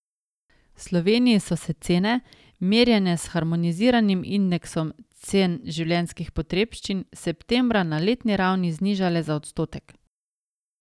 V Sloveniji so se cene, merjene s harmoniziranim indeksom cen življenjskih potrebščin, septembra na letni ravni znižale za odstotek.